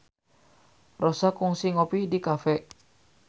Rossa kungsi ngopi di cafe